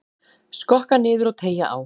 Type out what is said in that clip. Skokka niður og teygja á.